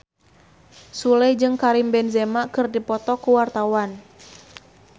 Sule jeung Karim Benzema keur dipoto ku wartawan